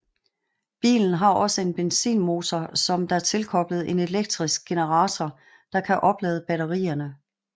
Bilen har også en benzinmotor som der tilkoblet en elektrisk generator der kan oplade batterierne